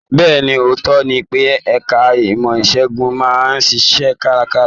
Bẹ́ẹ̀ni, ootọ ní pe ẹka ìmọ isegun máa n ṣiṣẹ karakara.